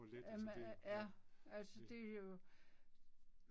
Øh øh ja. Altså det er jo